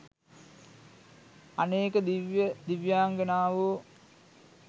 අනේක දිව්‍ය දිව්‍යාංගනාවෝ